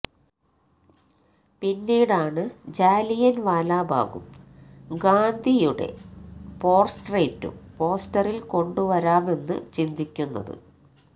പിന്നീടാണ് ജാലിയന് വാലാബാഗും ഗാന്ധിയുടെ പോര്ട്രേയ്റ്റും പോസ്റ്ററില് കൊണ്ടുവരാമെന്ന് ചിന്തിക്കുന്നത്